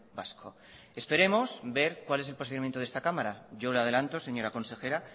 vasco esperamos ver cuál es el posicionamiento de esta cámara yo le adelanto señora consejera